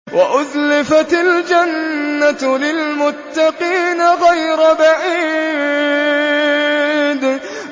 وَأُزْلِفَتِ الْجَنَّةُ لِلْمُتَّقِينَ غَيْرَ بَعِيدٍ